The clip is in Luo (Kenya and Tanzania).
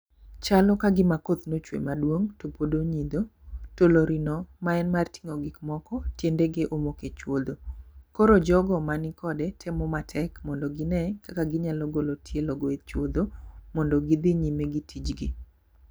Chalo ka gima koth nochwe maduong' to pod onyidho. To lori no ma en mar ting'o gik moko tinede ge omoke chuodho. Koro jogo mani kode temo matek mondo gine kaka ginyalo golo tielo go e chuodho mondo gidhi nyime gi tijgi.